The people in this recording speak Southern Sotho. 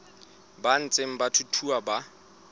ba ntseng ba thuthuha ba